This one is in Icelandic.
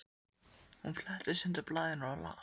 Hún fletti sundur blaðinu og las